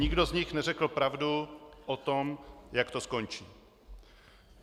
Nikdo z nich neřekl pravdu o tom, jak to skončí.